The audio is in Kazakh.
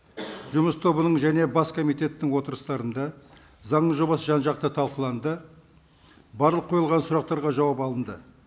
жұмыс тобының және бас комитеттің отырыстарында заңның жобасы жан жақты талқыланды барлық қойылған сұрақтарға жауап алынды